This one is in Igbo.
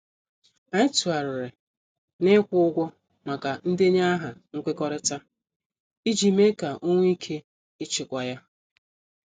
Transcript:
Anyị tụgharịrị na- ikwu ụgwọ maka ndenye aha nkwekọrịta ,iji mee ka ọ nwee ike ịchịkwa ya.